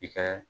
I ka